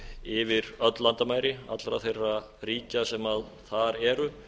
yfir öll landamæri allra þeirra ríkja sem þar eru